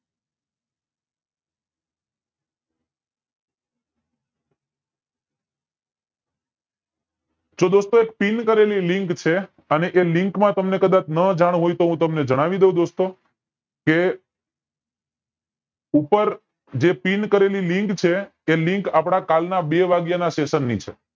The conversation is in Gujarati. તો દોસ્તો એક પિન કરેલી લિંક છે અને એ લિંક માં તમને કદાચ નો જાણ હોય તો હું તમને જણાવી દવ દોસ્તો કે ઉપર જે પિન કરેલી લિંક છે તે લિંક આપડા કલ ના બે વાગ્યા ના session ની છે